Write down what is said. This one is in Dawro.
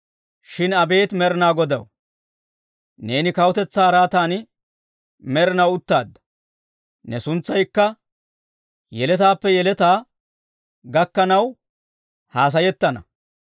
Shin abeet Med'inaa Godaw, neeni kawutetsaa araatan med'inaw uttaadda; ne suntsaykka yeletaappe yeletaa gakkanaw hassayettana.